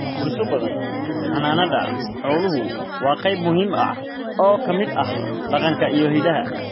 Bulsho badan, xannaanada xooluhu waa qayb muhiim ah oo ka mid ah dhaqanka iyo hiddaha.